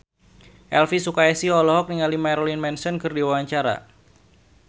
Elvy Sukaesih olohok ningali Marilyn Manson keur diwawancara